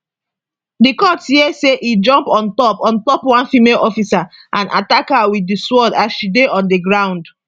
di court hear say e jump on top on top one female officer and attack her wit di sword as she dey on di ground